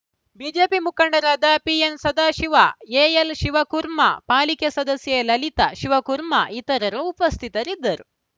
BJP ಮುಖಂಡರಾದ ಪಿಎನ್‌ಸದಾಶಿವ ಎಎಲ್‌ಶಿವಕುರ್ಮ ಪಾಲಿಕೆ ಸದಸ್ಯೆ ಲಲಿತಾ ಶಿವಕುರ್ಮ ಇತರರು ಉಪಸ್ಥಿತರಿದ್ದರು